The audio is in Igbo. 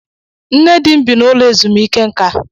Nne dị m bị n'ụlo ezumike nká.